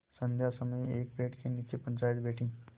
संध्या समय एक पेड़ के नीचे पंचायत बैठी